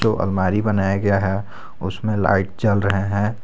अलमारी बनाया गया है उसमें लाइट जल रहे हैं।